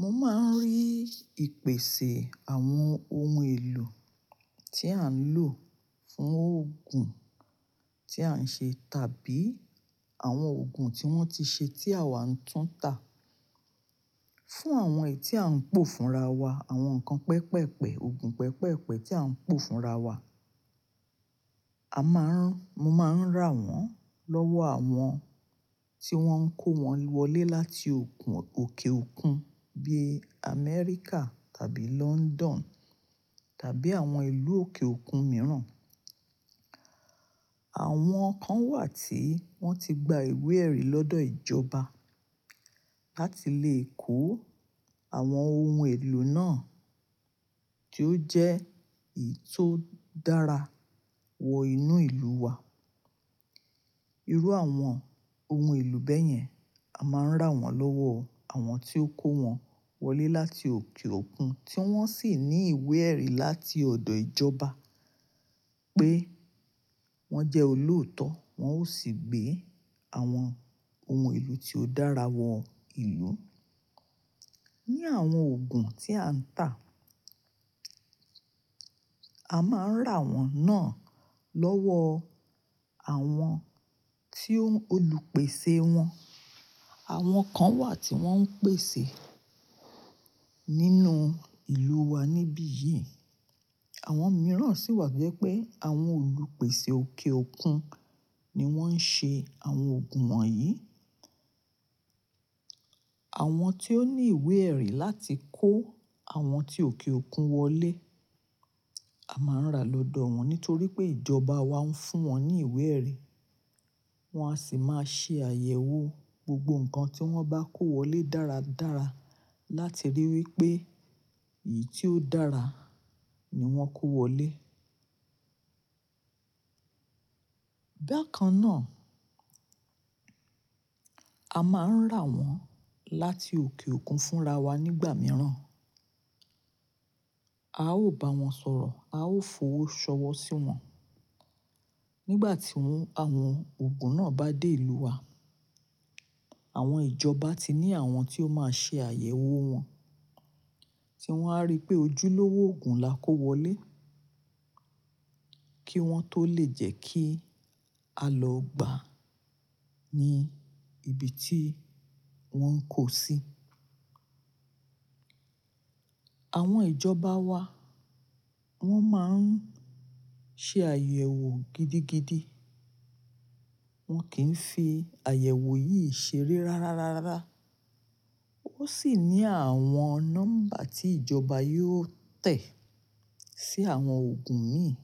Mo máa ń rí ìpèsè àwọn ohun èlò tí à ń lò fún òògùn tí à ń ṣe tàbí àwọn òògùn tí wọ́n ti ṣe tí àwa ń tún tà fún àwọn èyí tí à ń pò fún ra wa, àwọn nǹkan pẹpẹ́pẹ, òògùn pẹpẹ́pẹ tí à ń pò fún ra wa. A máa ń mo máa ń rà wọ́n lọ́wọ́ àwọn tí wọ́n kó wọn wọlé láti okùn, òkè òkun bí i America tàbí London tàbí àwọn ìlú òkè òkun mìíràn. Àwọn kan wà tí wọ́n ti gba ìwé ẹ̀rí lọ́dọ̀ ìjọba láti lè kó àwọn ohun èlò náà tí ó jẹ́ èyí tó dára wọ inú ìlú wa. Irú àwọn ohun èlò bẹ́yẹn, a máa ń rà wọ́n lọ́wọ́ àwọn tí ó kó wọn wọlé láti òkè òkun tí wọ́n sì ní ìwé ẹ̀rí láti ọ̀dọ̀ ìjọba pé wọ́n jẹ́ olóòótọ́, wọ́n ó sì gbé àwọn ohun èlò tí ó dára wọ ìlú. Ni àwọn òògùn tí à ń tà, a máa ń rà wọ́n náà lọ́wọ́ àwọn tí ó, olùpèsè wọn. Àwọn kan wà tí wọ́n ń pèsè nínú ìlú wa níbí yìí. Àwọn mìíràn sì wà toje pe àwọn olùpèsè òkè òkun ni wọ́n ń ṣe àwọn òògùn wọ̀nyí. Àwọn tí ó ní ìwé ẹ̀rí láti kó àwọn tí òkè òkun wọlé, a máa ń rà lọ́dọ̀ wọn nítorí pé ìjọba wa ń fún wọn ní ìwé ẹ̀rí. Wọ́n á sì máa ṣe àyẹ̀wò gbogbo nǹkan tí wọ́n bá kó wọlé dáradára láti ríi wí pé èyí tí ó dára ni wọ́n kó wọlé. Bakan náà, a máa ń rà wọ́n láti òkè òkun fúnra wa nígbà mìíràn. A ó bá wọn sọ̀rọ̀, a ó fowó ṣọwọ́ sí wọn. Nígbà tí àwọn òògùn náà bá dé ìlú wa, àwọn ìjọba ti ní àwọn tí ó máa ṣe àyẹ̀wò wọn tí wọ́n á rí pé ojúlówó ògùn la kó wọlé kí wọ́n tó lè jẹ́ kí a lọ gbà ní ibi tí wọ́n ń kó sí. Àwọn ìjọba wa wọ́n máa ń ṣe àyẹ̀wò gidigidi. Wọn kì í fi àyẹ̀wò yìí ṣeré rárárárá. Ó sì ní àwọn nọ́mbà tí ìjọba yóò tẹ̀ sí àwọn òògùn mìíràn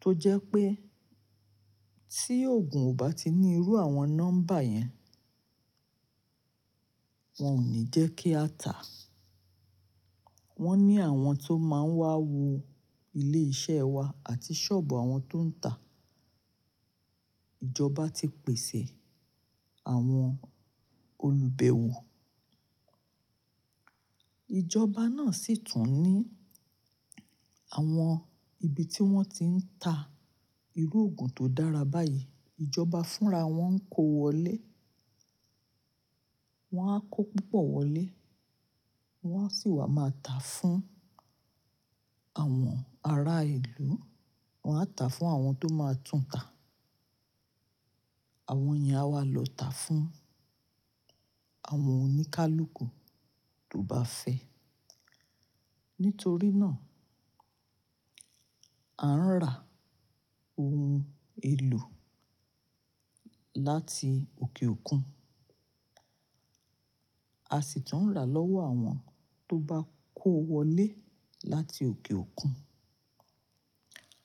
tó jẹ́ pé tí òògùn ò bá ti ní irú àwọn nọ́mbà yẹn, wọn ò ní jẹ́ kí a tà. Wọ́n ní àwọn tó máa ń wá wo ilé iṣẹ́ wa àti sọ́ọ̀bù àwọn tó ń tà. Ìjọba ti pèsè àwọn olùbẹ̀wọ̀. Ìjọba náà sì tún ní àwọn ibi tí wọ́n ti ń tà irú òògùn tó dára báyìí. Ìjọba fúnra wọn kó wọlé. Wọ́n á kó púpọ̀ wọlé, wọ́n á sì wà máa tà fún àwọn ará ìlú. Wọn á tà fún àwọn tó máa tún tà. Àwọn yen a wà lọ tà fún àwọn oníkálukú tó bá fẹ́. Nítorí náà, a ń rà ohun èlò láti òkè òkun. A sì tún ń rà lọ́wọ́ àwọn tó bá kó wọlé láti òkè òkun.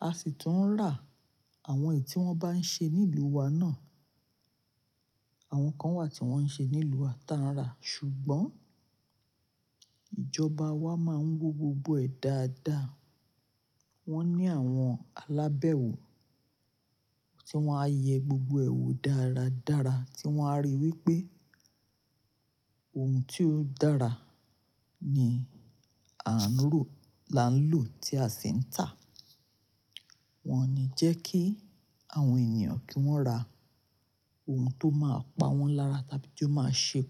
A sì tún ń rà àwọn èyí tí wọ́n bá ń ṣe ní ìlú wa náà. Àwọn kan wà tí wọ́n ń ṣe ní ìlú wa, ta ń rà. Ṣùgbọ́n ìjọba wa máa ń wo gbogbo ẹ̀ dáadáa. Wọ́n ní àwọn alábẹ̀wò tí wọ́n á yẹ gbogbo ẹ̀ wò dáradára tí wọ́n á ríi wí pé ohun tí ó dára ni à ń rò la ń lò tí a sì ń tà. Wọn ò ní jẹ́ kí àwọn ènìyàn kí wọ́n rà ohun tó máa pa wọ́n lára tàbí tó máa ṣe kù.